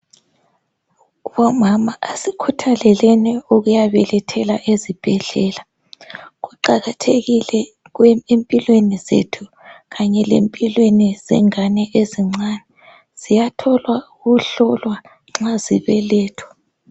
Bomama asikhuthaleleni ukuyabelethela ezibhedlela. Kuqakathekile empilweni zethu kanye lempilweni yengane ezincane, ziyathola ukuhlolwa nxa zibeletha.